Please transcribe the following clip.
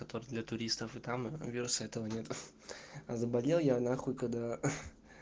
это для туристов и там вируса этого нету а заболел я нахуй когда хи